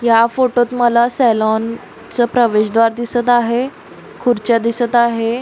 या फोटोत माला सेलॉन च प्रवेश द्वार दिसत आहे खुर्च्या दिसत आहे.